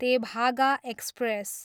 Tebhaga express